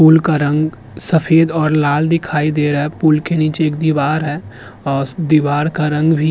पुल का रंग सफेद और लाल दिखाई दे रहा है। पुल के नीचे एक दीवार है औस दीवार का रंग भी --